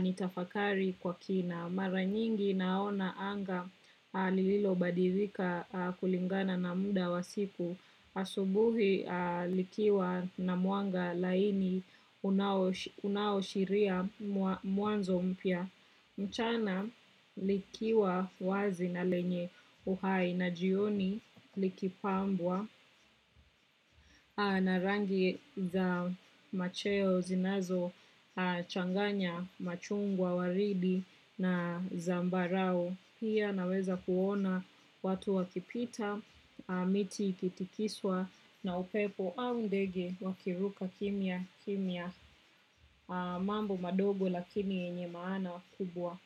nitafakari kwa kina. Mara nyingi naona anga lililo badirika kulingana na muda wa siku asubuhi likiwa na mwanga laini unaoshiria muanzo mpya. Mchana likiwa wazi na lenye uhai na jioni likipambwa na rangi za macheo zinazo changanya machungwa waridi na zambarau. Pia naweza kuona watu wakipita, miti ikitikiswa na upepo au ndege wakiruka kimia, kimia mambo madogo lakini yenye maana kubwa.